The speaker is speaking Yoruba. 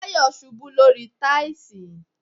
Tayo ṣubú lórí táìlì